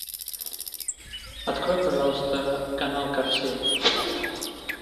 открой пожалуйста канал карусель